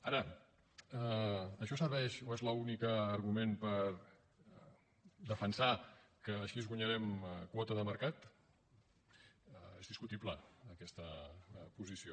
ara això serveix o és l’únic argument per defensar que així guanyarem quota de mercat és discutible aquesta posició